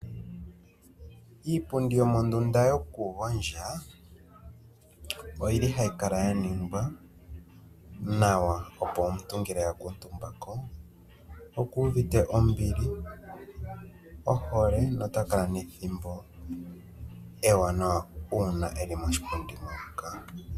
Iipundi yomondunda yokugondja, oyi li hayi kala ya ningwa nawa, opo omuntu ngele a kuutumba ko oku uvite ombili, ohole notakala nethimbo ewanawa uuna e li moshipundi moka.